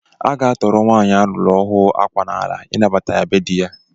A ga-atọrọ nwanyị a lụrụ ọhụụ akwa n'ala ịnabata ya be dị ya